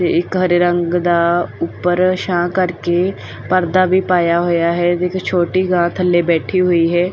ਤੇ ਹਰੇ ਰੰਗ ਦਾ ਉੱਪਰ ਛਾਂ ਕਰਕੇ ਪਰਦਾ ਵੀ ਪਾਇਆ ਹੋਇਆ ਹੈ ਤੇ ਇੱਕ ਛੋਟੀ ਗਾਂ ਥੱਲੇ ਬੈਠੀ ਹੋਈ ਹੈ।